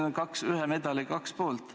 Need on ühe medali kaks poolt.